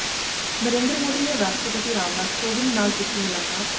ਨਰੇਂਦਰ ਮੋਦੀ ਨੇ ਰਾਸ਼ਟਰਪਤੀ ਰਾਮਨਾਥ ਕੋਵਿੰਦ ਨਾਲ ਕੀਤੀ ਮੁਲਾਕਾਤ